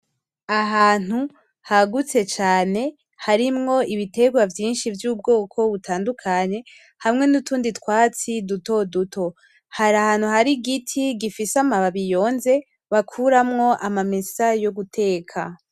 ahantu hagutse cane harimwo ibiterwa vyinshi vyubwoko butandukanye hamwe nutundi twatsi dutoduto hari ahantu hari igiti gifise amababi yonze bakuramwo amamesa yoguteka